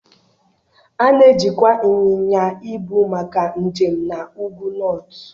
A na-ejikwa ịnyịnya ibu maka njem na Ụgwụ Nọọtụ.